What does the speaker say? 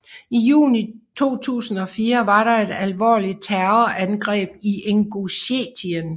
I juni 2004 var der et alvorligt terrorangreb i Ingusjetien